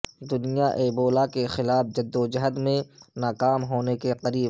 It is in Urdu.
دنیا ایبولا کے خلاف جدو جہد میں ناکام ہونے کے قریب